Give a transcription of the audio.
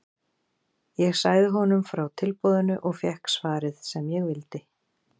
Ég sagði honum frá tilboðinu og fékk svarið sem ég vildi.